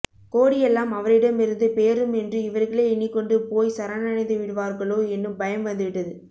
கோடியெல்லாம் அவரிடமிருந்து பேரும் என்று இவர்களே எண்ணிக்கொண்டு போய் சரணடைந்துவிடுவார்களோ என்னும் பயம் வந்துவிட்டது